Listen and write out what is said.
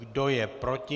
Kdo je proti?